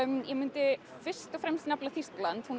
ég myndi fyrst og fremst nefna Þýskaland hún